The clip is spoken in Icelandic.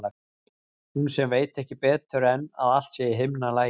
Hún sem veit ekki betur en að allt sé í himnalagi.